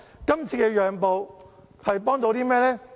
今次讓步可幫到甚麼？